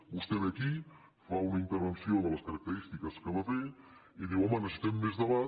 vostè ve aquí fa una inter·venció de les característiques que va fer i diu home necessitem més debat